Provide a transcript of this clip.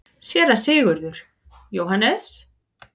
SÉRA SIGURÐUR: Jóhannes?